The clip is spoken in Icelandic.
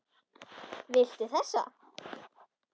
Viltu þessa?